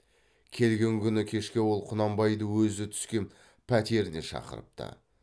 келген күні кешке ол құнанбайды өзі түскен пәтеріне шақырыпты